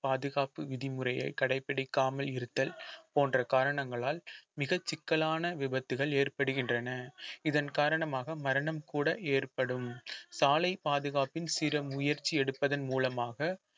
பாதுகாப்பு விதிமுறையை கடைபிடிக்காமல் இருத்தல் போன்ற காரணங்களால் மிகச் சிக்கலான விபத்துகள் ஏற்படுகின்றன இதன் காரணமாக மரணம் கூட ஏற்படும் சாலை பாதுகாப்பின் சிறு முயற்சி எடுப்பதன் மூலமாக